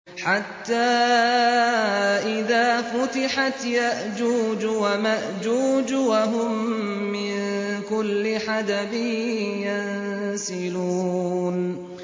حَتَّىٰ إِذَا فُتِحَتْ يَأْجُوجُ وَمَأْجُوجُ وَهُم مِّن كُلِّ حَدَبٍ يَنسِلُونَ